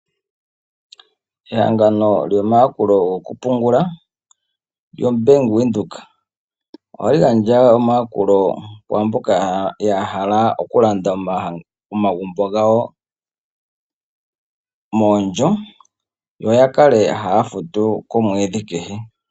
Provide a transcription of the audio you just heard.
Ehangano lyomayakulo gokupungula lyobank Windhoek ohali gandja omayakulo kwaamboka yahala okulanda omagumbo gawo moondjo yo yakale haya futu komwedhi kehe.